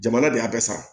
Jamana de y'a bɛɛ sara